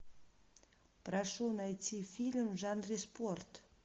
прошу найти фильм в жанре спорт